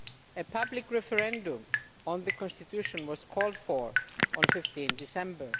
A public referendum on the Constitution was called for on 15 December.